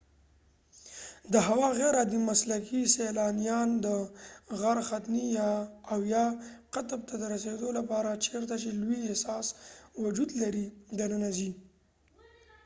د هوا غیر عادي مسلکي سیلانیان د غر ختنې او یا قطب ته د رسیدو لپاره چیرته چې لوی اساس وجود لري دننه ځي